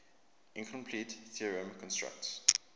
incompleteness theorem constructs